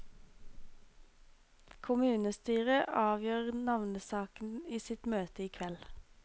Kommunestyret avgjør navnesaken i sitt møte i kveld.